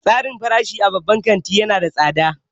Tsarin farashi a babban kantin ya nada tsada.